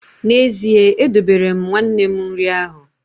N’ezie, edobere m nwanne m nri ahụ